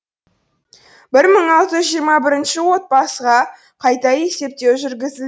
бір мың алты жүз жиырма бірінші отбасыға қайта есептеу жүргізілді